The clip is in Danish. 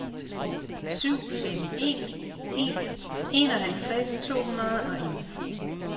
syv fem en en enoghalvtreds to hundrede og en